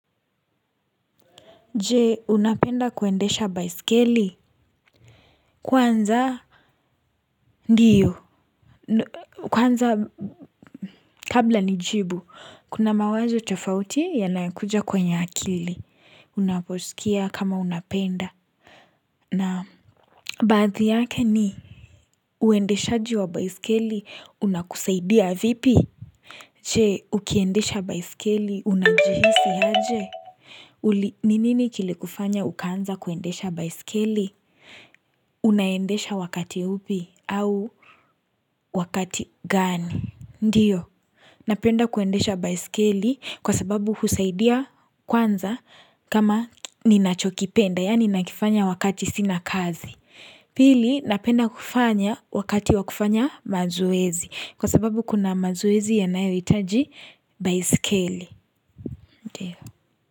Je unapenda kuendesha baiskeli Kwanza ndio kwanza kabla nijibu Kuna mawazo tofauti yanayokuja kwenye akili Unaposikia kama unapenda Naam baadhi yake ni uendeshaji wa baiskeli unakusaidia vipi Je, ukiendesha baiskeli unajihisi aje ni nini kilikufanya ukaanza kuendesha baiskeli unaendesha wakati upi au wakati gani ndiyo napenda kuendesha baiskeli kwa sababu husaidia kwanza kama ninachokipenda yani nakifanya wakati sina kazi pili napenda kufanya wakati wa kufanya mazoezi kwa sababu kuna mazoezi yanayohitaji baiskeli ndiyo.